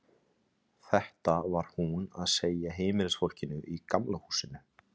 Þetta var hún að segja heimilisfólkinu í Gamla húsinu.